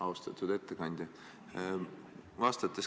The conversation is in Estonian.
Austatud ettekandja!